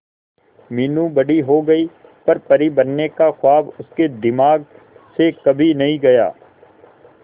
मीनू बड़ी हो गई पर परी बनने का ख्वाब उसके दिमाग से कभी नहीं गया